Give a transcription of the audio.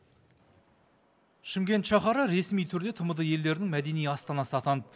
шымкент шаһары ресми түрде тмд елдерінің мәдени астанасы атанды